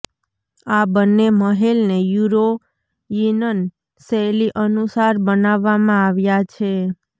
આ બંને મહેલને યૂરોયિનન શૈલી અનુસાર બનાવવામાં આવ્યા છે